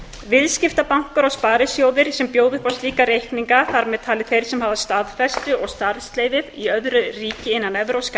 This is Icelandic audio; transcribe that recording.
viðskiptabankar og sparisjóðir sem bjóða upp á slíka reikninga þar með talin þeir sem hafa staðfestu og starfsleyfi í öðru ríki innan evrópska